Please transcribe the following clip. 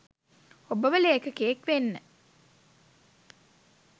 ඔබව ලේඛකයෙක් වෙන්න